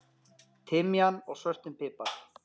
timian og svörtum pipar.